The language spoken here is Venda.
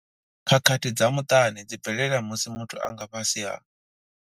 Khakhathi dza muṱani dzi bvelela musi muthu a nga fhasi ha.